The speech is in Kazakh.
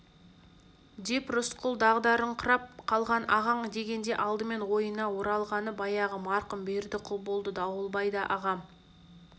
деп рысқұл дағдарыңқырап қалған ағаң дегенде алдымен ойына оралғаны баяғы марқұм бердіқұл болды дауылбай да ағам